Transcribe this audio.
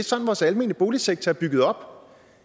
sådan vores almene boligsektor er bygget op